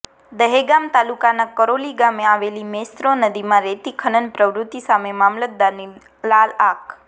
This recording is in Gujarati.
દહેગામ તાલુકાના કરોલી ગામે આવેલી મેશ્વો નદીમા રેતી ખનન પ્રવુતી સામે મામલતદારની લાલ આંખ